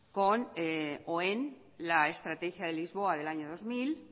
con o en la estrategia de lisboa del año dos mil